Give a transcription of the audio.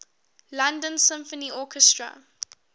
london symphony orchestra